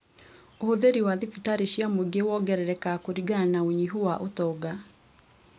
Ũhũthĩri wa thibitarĩ cia mũingĩ wongererekaga kũringana na ũnyihu wa ũtonga